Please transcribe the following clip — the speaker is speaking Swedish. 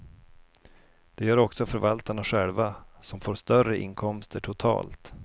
Det gör också förvaltarna själva, som får större inkomster totalt.